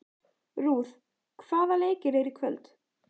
Ruth, hvaða leikir eru í kvöld?